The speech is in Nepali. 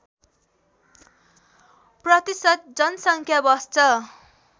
प्रतिशत जनसङ्ख्या बस्छ